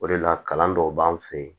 O de la kalan dɔw b'an fɛ yen